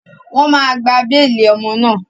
Wọ́n máa gba béèlì ọmọ náà.